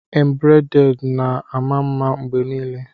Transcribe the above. Embrade na-ama mma mgbe niile